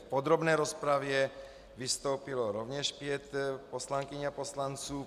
V podrobné rozpravě vystoupilo rovněž pět poslankyň a poslanců.